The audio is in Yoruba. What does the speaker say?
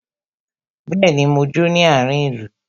Bẹẹni, mo jó ní àárin ìlú.